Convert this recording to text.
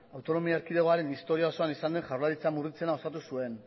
autonomi erkidegoaren historia osoan izan den jaurlaritza murritzena osatu zuen